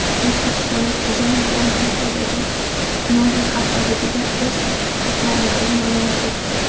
O‘zbekistonlik dizaynerlar Monakodagi Moda haftaligida o‘z to‘plamlarini namoyish etdi .